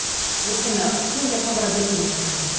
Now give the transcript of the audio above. өйткені кейінге қалдыра берме ештеңе деп